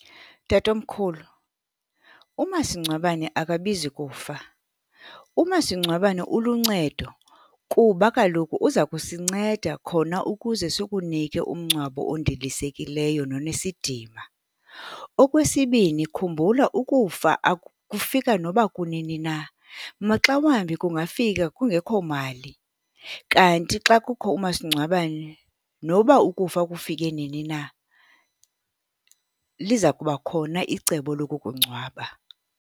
Tatomkhulu, umasingcwabane akabizi kufa. Umasingcwabane uluncedo kuba kaloku uza kusinceda khona ukuze sikunike umngcwabo ondilisekileyo nonesidima. Okwesibini, khumbula ukufa kufika noba kunini na, maxa wambi kungafika kungekho mali, kanti xa kukho umasingcwabane, noba ukufa kufike nini na, liza kuba khona icebo lokukungcwaba.